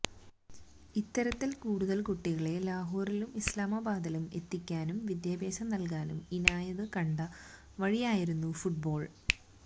ഇത്തരത്തില് കൂടുതല് കുട്ടികളെ ലാഹോറിലും ഇസ്ലാമാബാദിലും എത്തിക്കാനും വിദ്യാഭ്യാസം നല്കാനും ഇനായത് കണ്ട ഒരു വഴിയായിരുന്നു ഫുട്ബാള്